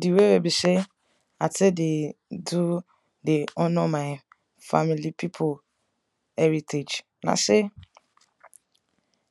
di way wey be sey i tek dey do dey honour my family pipu heritage na say